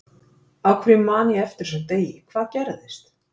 Af hverju man ég eftir þessum degi, hvað gerðist?